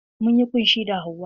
Munyi ƙunshi da hauwa.